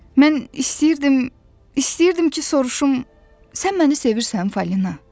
Mən istəyirdim, istəyirdim ki, soruşum, sən məni sevirsən Falina?